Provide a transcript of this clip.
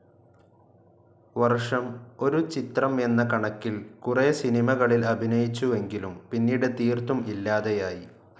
വർഷം ഒരു ചിത്രം എന്ന കണക്കിൽ കുറേ സിനിമകളിൽ അഭിനയിച്ചുവെങ്കിലും പിന്നീട് തീർത്തും ഇല്ലാതെയായി.